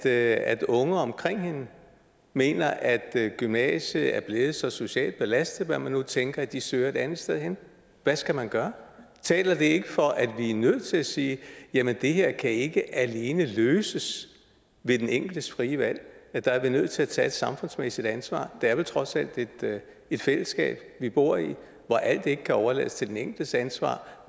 at at unge omkring hende mener at gymnasiet er blevet så socialt belastet eller hvad man nu tænker at de søger et andet sted hen hvad skal man gøre taler det ikke for at vi er nødt til at sige jamen det her kan ikke alene løses ved den enkeltes frie valg der er vi nødt til at tage et samfundsmæssigt ansvar det er vel trods alt et fællesskab vi bor i hvor alt ikke kan overlades til den enkeltes ansvar